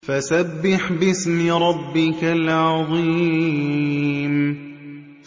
فَسَبِّحْ بِاسْمِ رَبِّكَ الْعَظِيمِ